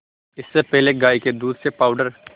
इससे पहले गाय के दूध से पावडर